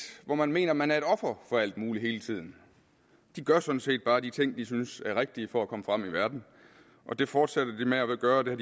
hvor man mener at man er et offer for alt muligt hele tiden de gør sådan set bare de ting de synes er rigtige for at komme frem i verden og det fortsætter de med at gøre og det